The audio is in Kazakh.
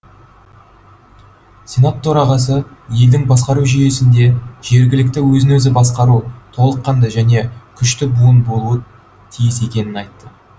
сенат төрағасы елдің басқару жүйесінде жергілікті өзін өзі басқару толыққанды және күшті буын болуы тиіс екенін айтты